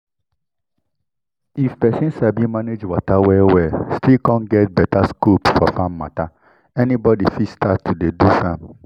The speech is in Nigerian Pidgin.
with how we dey manage water so even goat sef even goat sef dey use our water when dry season come